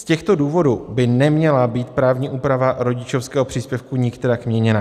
Z těchto důvodů by neměla být právní úprava rodičovského příspěvku nikterak měněna.